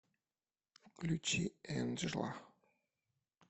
включи энджла